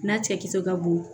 N'a cɛkisɛ ka bon